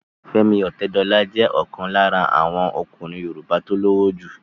Fẹ́mi Ọ̀tẹ́dọlá jẹ́ ọ̀kan lára àwọn ọkùnrin yoòbá tó lówó jù